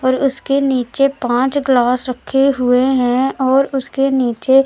और उसके नीचे पांच ग्लास रखे हुए है और उसके नीचे--